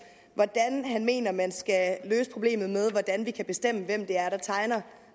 hvordan han mener man skal løse problemet med hvordan vi kan bestemme hvem det er der tegner